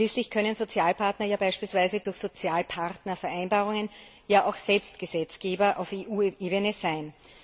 Schließlich können Sozialpartner beispielsweise durch Sozialpartnervereinbarungen ja auch selbst Gesetzgeber auf EU Ebene sein.